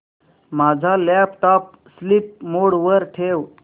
माझा laptop sleep mode वर ठेव